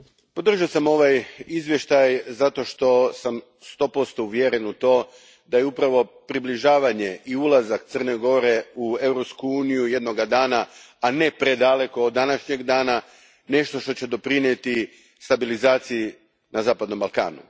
Gospodine predsjedniče, podržao sam ovaj izvještaj zato što sam sto posto uvjeren u to da je upravo približavanje i ulazak Crne Gore u Europsku uniju jednoga dana, ne predaleko od današnjeg dana, nešto što će doprinijeti stabilizaciji na zapadnom Balkanu.